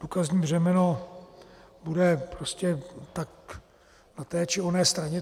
Důkazní břemeno bude prostě tak na té či oné straně.